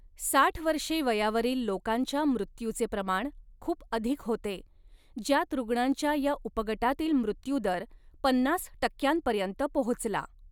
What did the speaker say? साठ वर्षे वयावरील लोकांच्या मृत्यूचे प्रमाण खूप अधिक होते, ज्यात रुग्णांच्या या उपगटातील मृत्यूदर पन्नास टक्क्यांपर्यंत पोहोचला.